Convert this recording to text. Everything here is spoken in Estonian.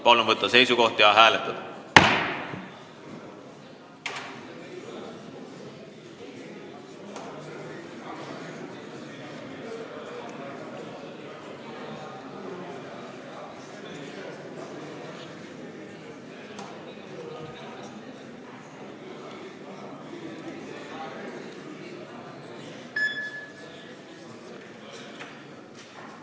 Palun võtta seisukoht ja hääletada!